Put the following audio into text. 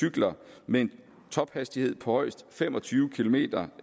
cykler med en tophastighed på højst fem og tyve kilometer